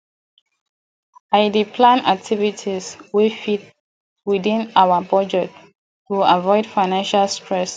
i dey plan activities wey fit within our budget to avoid financial stress